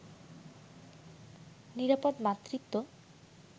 নিরাপদ মাতৃত্ব